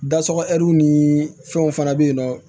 Da sɔgɔw ni fɛnw fana be yen nɔ